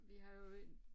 Vi har jo en